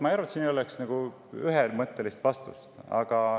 Ma ei arva, et siin ei oleks ühemõttelist vastust.